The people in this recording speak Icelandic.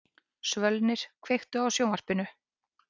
Svölnir, kveiktu á sjónvarpinu.